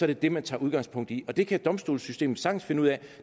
det det man tager udgangspunkt i og det kan domstolssystemet sagtens finde ud af